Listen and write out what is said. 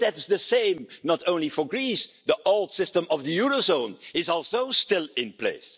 economy. But the same is true not only for Greece the old system of the eurozone is also still in